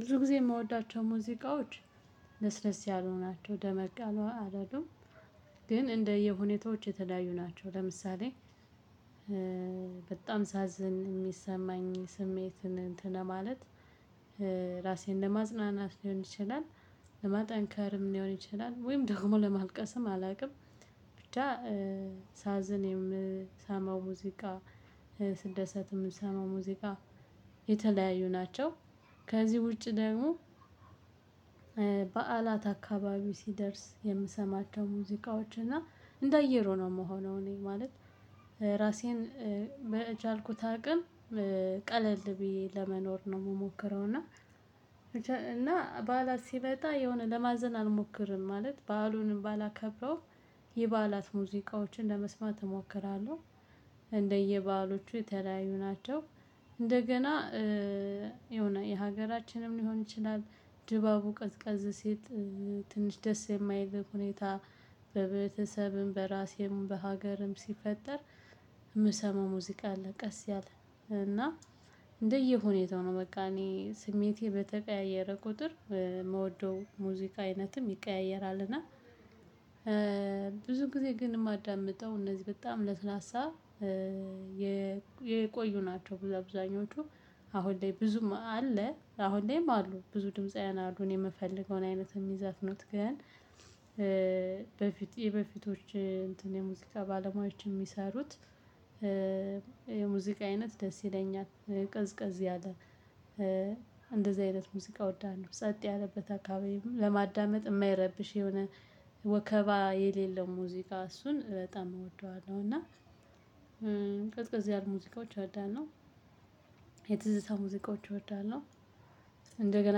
ብዙ ጊዜ የምወዳቸው ሙዚቃዎች ለስለስ ያሉ ናቸው ደመቅ ያሉ አይደሉም። ግን እንደየ ሁኔታዎች የተለያዩ ናቸው ለምሳሌ በጣም ሳዝን የሚሰማኝ ስሜትን እንትን ለማለት ራሴን ለማጽጽናት ሊሆን ይችላል፣ ለማጠንከርም ሊሆን ይችላል ወይም ደግሞ ለማልቀስም አላውቅም ብዬ የምሰማው ሙዚቃ ስደሰት የምሰማው ሙዚቃ የተለያዩ ናቸው። ከዚህ ውጪ ደግሞ በዓላት አካባቢ ሲደርስ የምሰማቸው ሙዚቃዎች እና እንደ አየር ሆኖ የምሆነው እኔ ማለት ራሴን ቀን ቀለል ብዬ ለመኖር ነው የምሞክረው እና እና በዓላት ሲመጣ የሆነ ለማዘን አልሞክርም ማለት በዓሉን ባላከብረው የበዓላት ሙዚቃዎችን ለመስማት እሞክራለሁ። እንደየበዓሎቹ የተለያዩ ናቸው። እንደገና የሆነ የሀገራችንም ሊሆን ይችላል፣ ድባቡ ቀዝቀዝ ሲል ትንሽ ደስ የማይል ሁኔታ በቤተሰብም፣ በራሴም፣ በሀገርም ሲፈጠር የምሰማው ሙዚቃ አለ ቀስ ያለ እና እንደየ ሁኔታው ነው በቃ እኔ ስሜቴ በተቀያየረ ቁጥር የምወደው ሙዚቃ አይነትም ይቀያየራል እና ብዙ ጊዜ ግን የማዳምጠው እነዚህ በጣም ለስላሳ የቆዩ ናቸው። ብዙ አብዛኞቹ አሁን ላይ ብዙም አለ አሁን ላይም አሉ። ብዙ ድምፃውያን አሉ እኔ የምፈልገውን አይነት የሚዘፍኑት ግን በፊት የበፊቶች እንትን የሙዚቃ ባለሙያዎች የሚሰሩት የሙዚቃ አይነት ደስ ይለኛል። ቀዝቀዝ ያለ እንደዚህ አይነት ሙዚቃ እወዳለሁ። ጸጥ ያለበት አካባቢ ለማዳመጥ የማይረብሽ የሆነ ወከባ የሌለው ሙዚቃ እሱን በጣም እወደዋለሁ እና ቀዝቀዝ ያሉ ሙዚቃዎች እወዳለሁ፣ የትዝታ ሙዚቃዎች እወዳለሁ። እንደገና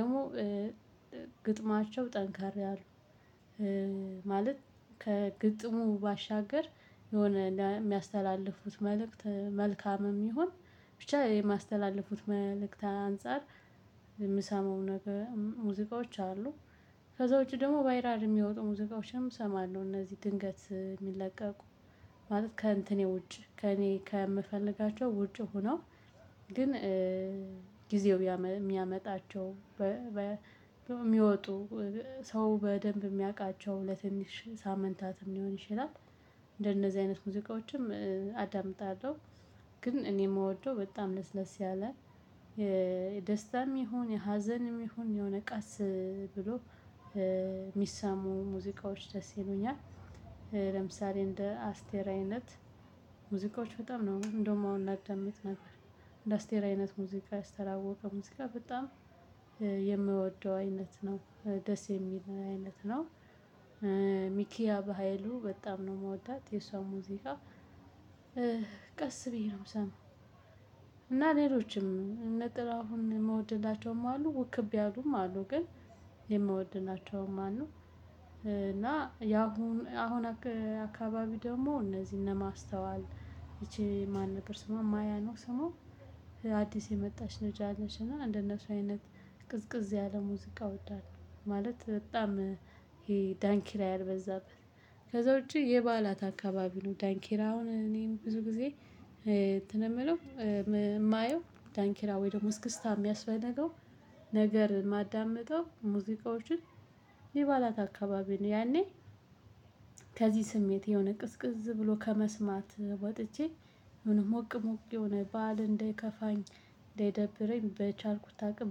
ደግሞ ግጥማቸው ጠንከር አሉ ማለት ከግጥሙ ባሻገር የሆነ የሚያስተላልፉት መልእክት መልካምም ይሁን ብቻ የማስተላለፉት መልእክት አንፃር የምሰማው ነገር ሙዚቃዎች አሉ። ከዛ ውጪ ደግሞ ባይራል የሚወጡ ሙዚቃዎችም እሰማለሁ። እነዚህ ድንገት የሚለቀቁ ማለት ከእንትኔ ውጭ ከእኔ ከምፈልጋቸው ውጭ ሆነው ግን ጊዜው የሚያመጣቸው የሚወጡ ሰው በደንብ የሚያውቃቸው ለትንሽ ሳምንታትም ሊሆን ይችላል፤ እንደነዚህ አይነት ሙዚቃዎችም አዳምጣለሁ። ግን እኔ የምወደው በጣም ለስለስ ያለ የደስታም ይሁን፣ የሀዘንም ይሁን የሆነ ቀስ ብሎ የሚሰሙ ሙዚቃዎች ደስ ይሉኛል። ለምሳሌ እንደ አስቴር አይነት ሙዚቃዎች በጣም ነው እንደውም አሁን ላዳምጥ ነበር። እንደ አስቴር አይነት ሙዚቃ የአስተር አወቀ ሙዚቃ በጣም የምወደው አይነት ነው፤ ደስ የሚል አይነት ነው። በሃይሉ በጣም ነው የምወዳት። የሷን ሙዚቃ ቀስ ብዬ ምሰማው እና ሌሎችም እነ ጥላሁን የምወድላቸውም አሉ ውክብ ያሉም አሉ ግን የምወድናቸው ማነው እና ያሁን አሁን አካባቢ ደግሞ እነዚህ ማስተዋል ይቺ ማን ነገር ስሟ ማያ ነው ስሟ አዲስ የመጣች ልጅ አለች እና እንደነሱ አይነት ቅዝቅዝ ያለ ሙዚቃ እወዳለሁ ማለት በጣም ይሄ ዳንኪራ ያልበዛበት ከዛ ውጪ የባዓላት አካባቢ ነው ዳንኪራውን እኔም ብዙ ጊዜ እንትን የምለው የማየው ዳንኪራ ወይ ደግሞ እስክስታ የሚያስፈልገው ነገር ማዳመጠው ሙዚቃዎችን የባዕላት አካባቢ ነው። ያኔ ከዚህ ስሜት የሆነ ቅዝቅዝ ብሎ ከመስማት ወጥቼ ምን ሞቅ ሞቅ የሆነ ባል እንደከፋኝ እንደደብረኝ በቻልኩት አቅም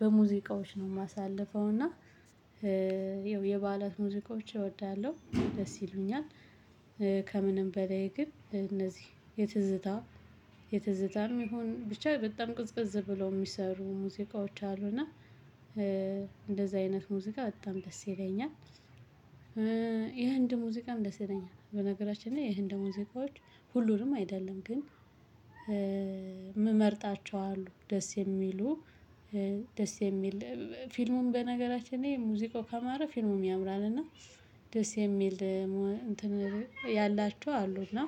በሙዚቃዎች ነው ማሳልፈው እና ይኸው የበዓላት ሙዚቆች እወዳለሁ፣ ደስ ይሉኛል ከምንም በላይ ግን እነዚህ የትዝታ የትዝታም ይሁን ብቻ በጣም ቅዝቀዝ ብለው የሚሰሩ ሙዚቃዎች አሉ እና አይነት ሙዚቃ በጣም ደስ ይለኛል። የህንድ ሙዚቃ ደስ ይለኛል። በነገራችን ላይ የህንድ ሙዚቃዎች ሁሉንም አይደለም ግን ምመርጣቸው አሉ ደስ የሚሉ ደስ የሚል ፊልሙም በነገራችን ሙዚቃው ከማረ ፊልሙም ያምራል እና ደስ የሚል እንትን ያላችው አሉ እና